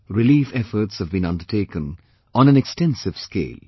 Relief efforts have been undertaken on an extensive cale